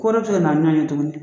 Ko wɛrɛ bɛ se ka na ɲɔgɔn ye tuguni